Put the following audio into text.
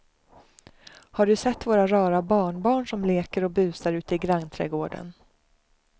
Har du sett våra rara barnbarn som leker och busar ute i grannträdgården!